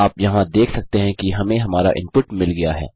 आप यहाँ देख सकते हैं हमें हमारा इनपुट मिल गया है